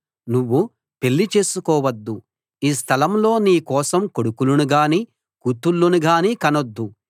నువ్వు పెళ్లి చేసుకోవద్దు ఈ స్థలంలో నీ కోసం కొడుకులనుగానీ కూతుళ్ళను గానీ కనొద్దు